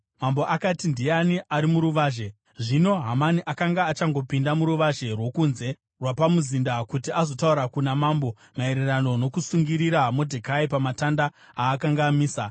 Mambo akati, “Ndiani ari muruvazhe?” Zvino Hamani akanga achangopinda muruvazhe rwokunze rwapamuzinda kuti azotaura kuna mambo maererano nokusungirira Modhekai pamatanda aakanga amisa.